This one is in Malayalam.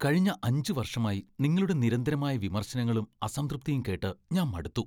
കഴിഞ്ഞ അഞ്ച് വർഷമായി നിങ്ങളുടെ നിരന്തരമായ വിമർശനങ്ങളും, അസംതൃപ്തിയും കേട്ട് ഞാൻ മടുത്തു.